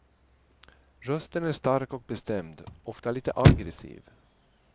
Rösten är stark och bestämd, ofta lite aggressiv.